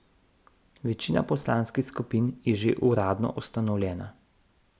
Večina poslanskih skupin je že uradno ustanovljena.